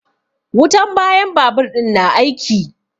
Wutan bayan babur ɗin na aiki.